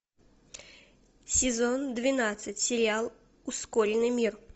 сезон двенадцать сериал ускоренный мир